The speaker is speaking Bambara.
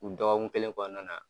U dɔgɔkun kɛlen kɔnɔna na